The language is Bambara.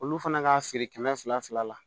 Olu fana ka feere kɛmɛ fila fila la